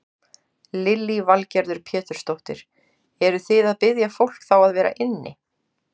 Lillý Valgerður Pétursdóttir: Eruð þið að biðja fólk þá að vera inni?